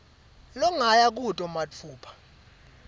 longaya kuto matfupha